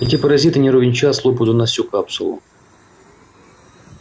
эти паразиты не ровен час слопают у нас всю капсулу